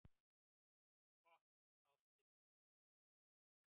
"""Gott, ástin mín."""